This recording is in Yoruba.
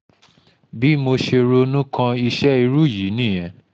bí mo ṣe ronú kan iṣẹ́ irú yìí nìyẹn